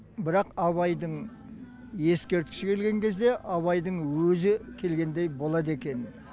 бірақ абайдың ескерткіші келген кезде абайдың өзі келгендей болады екен